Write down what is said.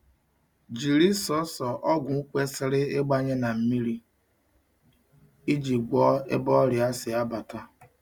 Jiri sọsọ ogwu kwesiri igbanye na mmiri iji gwọ ebe ọrịa si abata